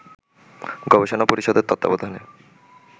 গবেষণা পরিষদের তত্ত্বাবধানে